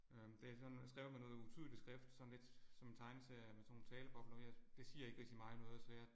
Øh det er sådan skrevet med noget utydelig skrift sådan lidt som en tegneserie med sådan nogle talebobler ved det. Det siger ikke rigtig mig noget så jeg